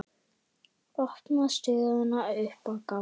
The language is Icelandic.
Opnar stöðuna upp á gátt.